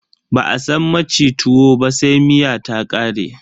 Ba a san maci tuwo ba sai miya ta ƙare.